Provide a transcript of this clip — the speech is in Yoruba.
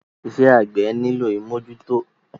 Iṣẹ́ àgbẹ́ nílò ìmọ́jútọ́.